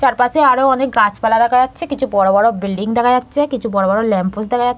চারপাশে আরও অনেক গাছপালা দেখা যাচ্ছে কিছু বড় বড় বিল্ডিং দেখা যাচ্ছে কিছু বড় বড় ল্যাম্পোস্ট দেখা যা--